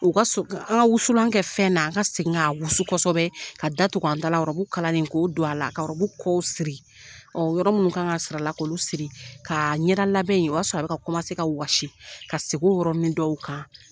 U ka sɔ an ka wusulan kɛ fɛn na an ka segin ka wusu kosɛbɛ ka da tugu an t dala ɔrɔbu kalanlen ko don a la ka ɔrɔbu kɔw siri ɔ yɔrɔ minnu kan ka siri ala k'olu siri ka ɲɛda labɛn in o y'a sɔrɔ a bɛ ka kɔmase ka wɔsi ka segin o yɔrɔ ni dɔw kan